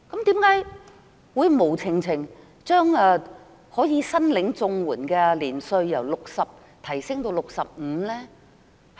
為何會無故將申領長者綜援的年齡由60歲提高至65歲呢？